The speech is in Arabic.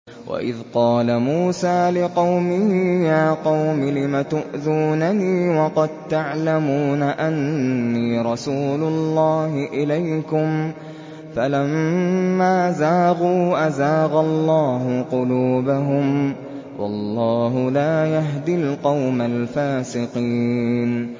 وَإِذْ قَالَ مُوسَىٰ لِقَوْمِهِ يَا قَوْمِ لِمَ تُؤْذُونَنِي وَقَد تَّعْلَمُونَ أَنِّي رَسُولُ اللَّهِ إِلَيْكُمْ ۖ فَلَمَّا زَاغُوا أَزَاغَ اللَّهُ قُلُوبَهُمْ ۚ وَاللَّهُ لَا يَهْدِي الْقَوْمَ الْفَاسِقِينَ